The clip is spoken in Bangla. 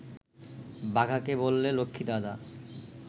বাঘাকে বললে, লক্ষ্মী, দাদা